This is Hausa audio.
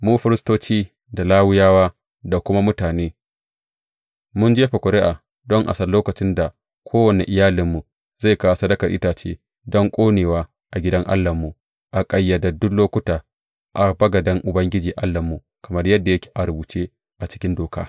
Mu, firistoci, da Lawiyawa da kuma mutane, mun jefa ƙuri’a don a san lokacin da kowane iyalinmu zai kawo sadakar itace don ƙonewa a gidan Allahnmu a ƙayyadaddun lokuta a bagaden Ubangiji Allahnmu, kamar yadda yake a rubuce a cikin Doka.